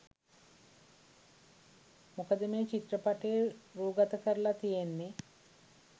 මොකද මේ චිත්‍රපටය රූගතකරලා තියෙන්නෙ